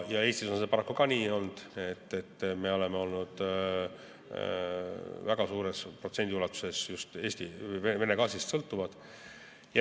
Eestis on see paraku ka nii olnud, et me oleme väga suure protsendi ulatuses just Vene gaasist sõltunud.